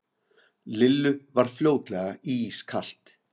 Lillu varð fljótlega ískalt.